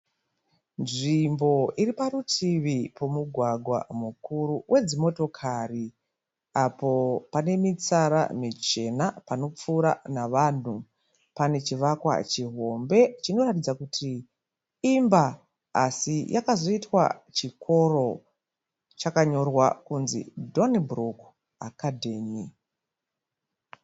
Nzvimbo iri parutivi pomugwagwa mukuru wedzimotokari apo pane mitsara michena panopfuura navanhu. Pane chivakwa chihombe chinoratidza kuti imba asi yakazoitwa chikoro. Chakanyorwa kunzi Donnybrook Academy.